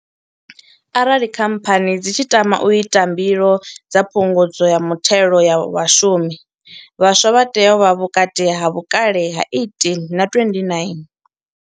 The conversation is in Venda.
Arali Khamphani dzi tshi tama u ita mbilo dza Phungudzo ya Muthelo wa Vhashumi, vhaswa vha tea u vha vhukati ha vhukale ha 18 na 29.